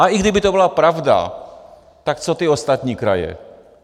A i kdyby to byla pravda, tak co ty ostatní kraje?